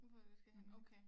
Hvor du skal hen okay